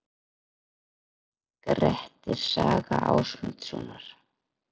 Grettis saga Ásmundarsonar.